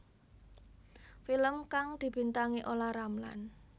Film kang dibintangi Olla Ramlan